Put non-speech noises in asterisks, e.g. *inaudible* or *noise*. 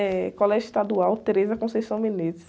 É Colégio Estadual. *unintelligible*